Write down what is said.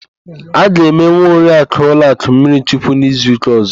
A ga-eme nwa Oriakụ Ụzọka mmirichukwu n'izuụ́kà ọ̀zọ́.